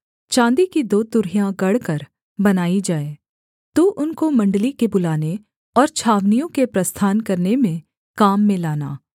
चाँदी की दो तुरहियां गढ़कर बनाई जाए तू उनको मण्डली के बुलाने और छावनियों के प्रस्थान करने में काम में लाना